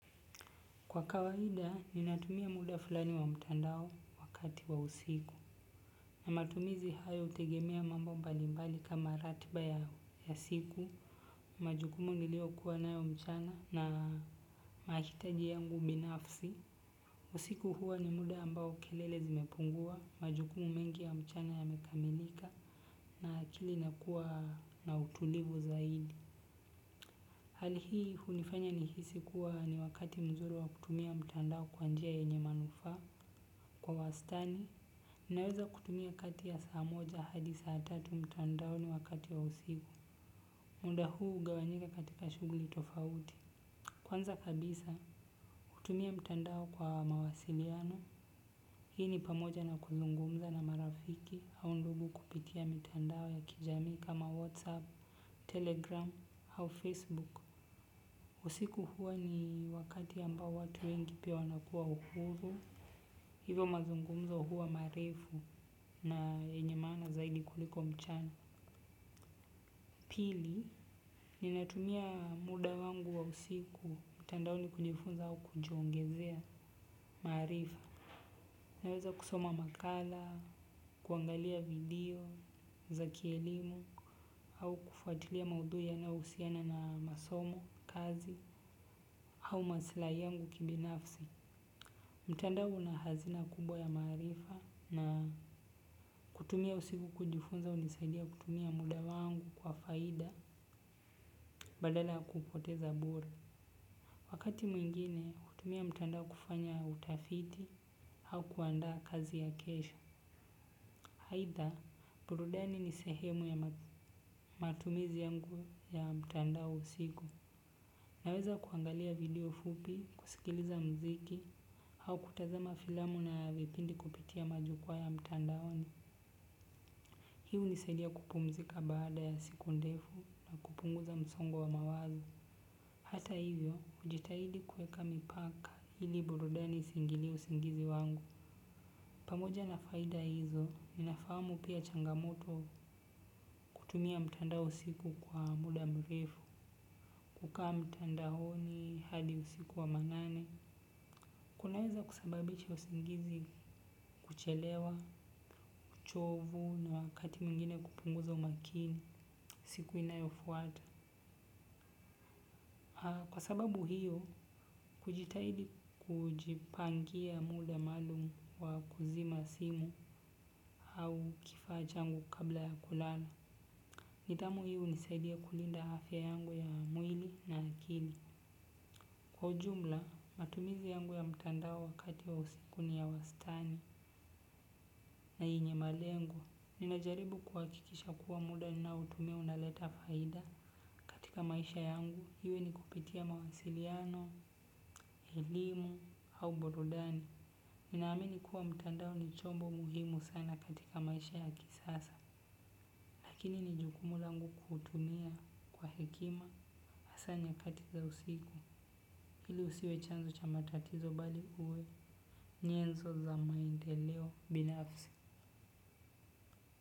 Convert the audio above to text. Kwa kawaida, ninatumia muda fulani wa mtandao wakati wa usiku. Na matumizi hayo hutegemea mambo mbalibmbali kama ratiba ya siku, majukumu niliyo kuwa nayo mchana na mahitaji yangu binafsi. Usiku huwa ni muda ambao kelele zimepungua, majukumu mengi ya mchana yamekamelika, na akili inakuwa na utulivu zaidi. Hali hii hunifanya nihisi kuwa ni wakati mzuri wa kutumia mtandao kwa njia yenye manufaa, kwa wastani, ninaweza kutumia kati ya saa moja hadi saa tatu mtandaoni wakati wa usiku. Muda huu hugawanyika katika shughuli tofauti. Kwanza kabisa, kutumia mtandao kwa mawasiliano. Hii ni pamoja na kuzungumza na marafiki au ndugu kupitia mtandao ya kijamii kama "Whatsapp", "Telegram", au "Facebook". Usiku huwa ni wakati ambao watu wengi pia wanakuwa uhuru. Hivyo mazungumzo huwa maeifu na yenye maana zaidi kuliko mchana. Pili, ninatumia muda wangu wa usiku, mtandaoni kujifunza au kujongezea maarifa. Naweza kusoma makala, kuangalia video, za kielimu, au kufuatilia maudhui yanahusiana na masomo, kazi, au masilahi yangu kibinafsi. Mtandao unahazina kubwa ya maarifa na kutumia usiku kujifunza hunisaidia kutumia muda wangu kwa faida badala kuupoteza bure. Wakati mwingine, kutumia mtandao kufanya utafiti au kuandaa kazi ya kesho. "Either", burudani ni sehemu ya matumizi yangu ya mtandao usiku. Naweza kuangalia video fupi, kusikiliza mziki au kutazama filamu na vipindi kupitia majukua ya mtandaoni. Hii hunisaidia kupumzika baada ya siku ndefu kupunguza msongo wa mawazo. Hata hivyo, hujitahidi kweka mipaka ili burudani isingililie usingizi wangu. Pamoja na faida hizo, ninafamu pia changamoto kutumia mtandao usiku kwa muda mrefu. Kukaa mtandaoni hadi usiku wa manane. Kunaweza kusababisha usingizi kuchelewa, uchovu na wakati mwingine kupunguza umakini siku inayofuata. Kwa sababu hiyo, kujitahidi kujipangia muda maalumu wa kuzima simu au kifaa changu kabla ya kulala. Nidhamu hii hunisaidia kulinda afya yangu ya mwili na akili. Kwa ujumla, matumizi yangu ya mtandao wakati wa usiku ni ya wastani na yenye malengo, ninajaribu kuhakikisha kuwa muda nautumia unaleta faida. Katika maisha yangu, iwe ni kupitia mawasiliano, elimu, au burudani. Ninaamini kuwa mtandao ni chombo muhimu sana katika maisha ya kisasa. Lakini ni jukumu langu kuutumia kwa hekima, hasa nyakati za usiku. Ili usiwe chanzo cha matatizo bali uwe, nyenzo za maendeleo, binafsi.